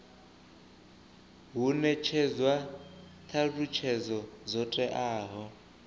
hu netshedzwa thalutshedzo dzo teaho